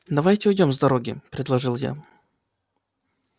давайте уйдём с дороги предложил я